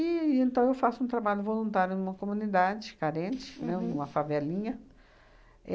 E então, eu faço um trabalho voluntário numa comunidade carente, né, numa favelinha.